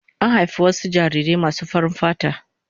An haifi wasu jarirai masu farin fata.